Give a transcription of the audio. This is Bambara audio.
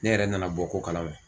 Ne yɛrɛ nana bɔ ko kalama